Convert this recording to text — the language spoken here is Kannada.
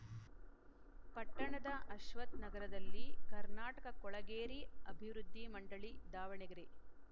ಪಟ್ಟಣದ ಅಶ್ವಥ್‌ನಗರದಲ್ಲಿ ಕರ್ನಾಟಕ ಕೊಳಗೇರಿ ಅಭಿವೃದ್ದಿ ಮಂಡಳಿ ದಾವಣಗೆರೆ